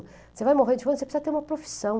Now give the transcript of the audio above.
Você vai morrer de fome, você precisa ter uma profissão.